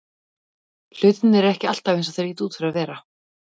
Hlutirnir eru ekki alltaf eins og þeir líta út fyrir að vera.